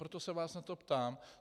Proto se vás na to ptám.